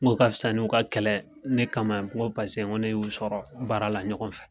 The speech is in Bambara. N k' o ka fisa n'o ka kɛlɛ ne kama n ko paseke ne y'u sɔrɔ baara la ɲɔgɔn fɛ